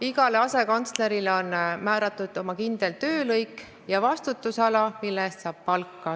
Igale asekantslerile on määratud oma kindel töölõik ja vastutusala, mille eest ta saab palka.